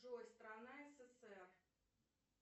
джой страна ссср